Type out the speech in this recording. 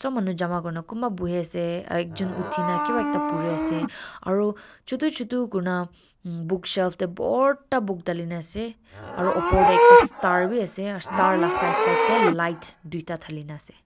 ob manu jama kurina kumba buhiase aro ekjun uthi na kiba ekta puri ase aru chutu chutu kurina mm bookshelf tey bhorta book dhalina ase aro upor tey ekta star bi ase aro star la side side lights duita dhalina ase.